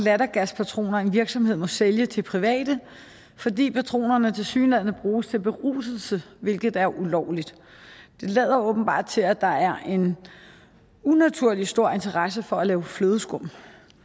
lattergaspatroner en virksomhed må sælge til private fordi patronerne tilsyneladende bruges til beruselse hvilket er ulovligt det lader åbenbart til at der er en unaturlig stor interesse for at lave flødeskum